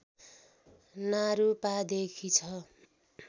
नारूपादेखि छ